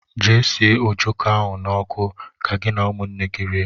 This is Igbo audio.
Jee sie ọjọko ahụ na ọkụ, ka gị na ụmụnne gị rie!!!!